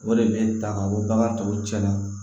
O de bɛ n ta ka bɔ bagan tɔw cɛ la